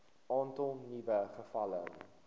aantal nuwe gevalle